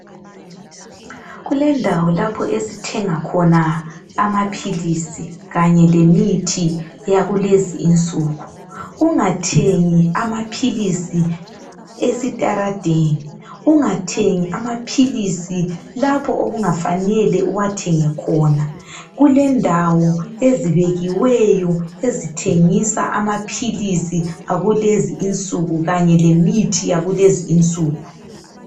Kulendawo lapho esithenga khona imithi kanye lemithi yakulezi insuku ungathengi amapills esitaradeni ungathengi amapills lapho okungafanele uwathenge khona kulendawo ezibikiweyo ezithegisa amapills akukezi insuku kanye lemithi yakulezi insuku